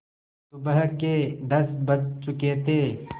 सुबह के दस बज चुके थे